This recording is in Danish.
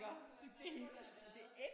Ja det må det have været